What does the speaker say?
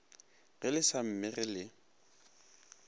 ge le sa mmege le